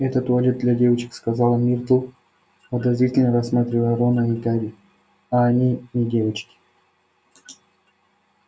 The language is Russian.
это туалет для девочек сказала миртл подозрительно рассматривая рона и гарри а они не девочки